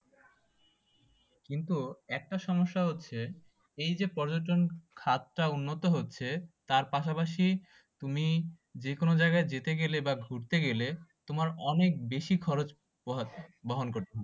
কিন্তু একটা সমস্যা হচ্ছে এই যে পর্যটন খাত টা উন্নত হচ্ছে তার পাশাপাশি তুমি যে কোনো জায়গায় যেতে গেলে বা ঘুরতে গেলে তোমার অনেক বেশি খরচ বহন করতে হচ্ছে